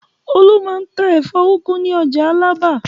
Olú máa ń ta ẹ̀fọ́ úgú ní ọjà Alábà.